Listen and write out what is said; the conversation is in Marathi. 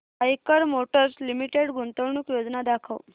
आईकर मोटर्स लिमिटेड गुंतवणूक योजना दाखव